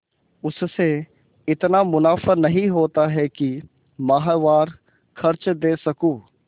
उससे इतना मुनाफा नहीं होता है कि माहवार खर्च दे सकूँ